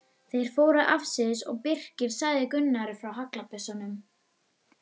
Þeir fóru afsíðis og Birkir sagði Gunnari frá haglabyssunum.